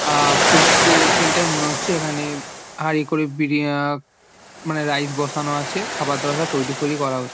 আ -আ food court centre মনে হচ্ছে ।এখানে হাঁড়ি করে বিড়ি আ-আ মানে রাইস বসানো আছে। খাবার দাবার সব তৈরি ফৈরি করা হচ--